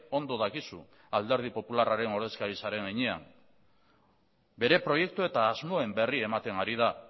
ondo dakizu alderdi popularraren ordezkari zaren heinean bere proiektu eta asmoen berri ematen hari da